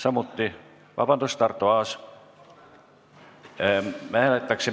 Arto Aas, palun!